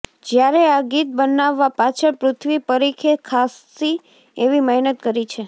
જ્યારે આ ગીત બનાવવા પાછળ પૃથ્વી પરીખે ખાસ્સી એવી મહેનત કરી છે